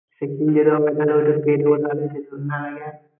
সেক্ষুন যেটা হবে